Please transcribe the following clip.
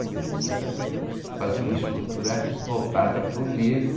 Você precisa fazer uma escultura voltada para o negro.